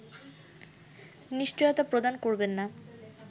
নিশ্চয়তা প্রদান করবে না